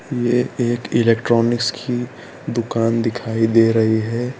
यह एक इलेक्ट्रॉनिक्स की दुकान दिखाई दे रही है।